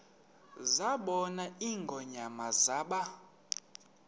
zabona ingonyama zaba